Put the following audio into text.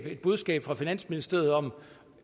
et budskab fra finansministeriet om